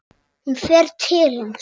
Hún fer til hans.